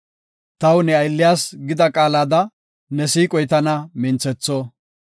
Taw ne aylliyas gida qaalada, ne siiqoy tana minthetho.